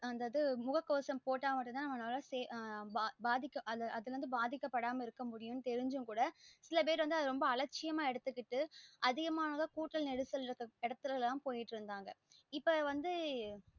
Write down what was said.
அந்த இது முககவசம் போட்ட மட்டும் அப்போன மட்டும் தா ஆஹ் அதுல இருந்து பாதிக்க அதுல இருந்து பாதிக்கபடாம இருக்க முடியும் தெரிஞ்சும் கூட சில பேர் வந்த அத அலட்சியமா எடுத்துகிட்டு அதிகமான கூட நெருசல் இருக்குற இடத்துலலாம் போயிடு இருந்தாங்க இப்போ வந்து